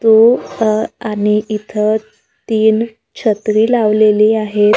तू अं आणि इथं तीन छत्री लावलेली आहेत.